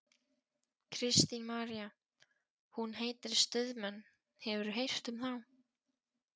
Kristín María: Hún heitir Stuðmenn, hefurðu heyrt um þá?